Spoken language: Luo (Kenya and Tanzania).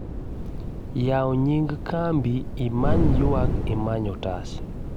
yawu nying kambi imany' ywak imany otas